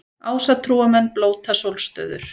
Ásatrúarmenn blóta sólstöður